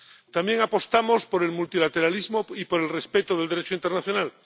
También apostamos por el multilateralismo y por el respeto del Derecho internacional.